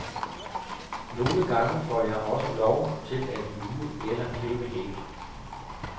Nogle gange får jeg også lov til at luge eller klippe hæk.